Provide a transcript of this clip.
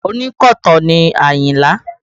Ònkọ̀tan ni Ayinla